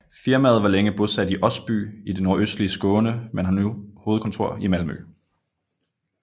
Firmaet var længe bosat i Osby i det nordøstlige Skåne men har nu hovedkontor i Malmö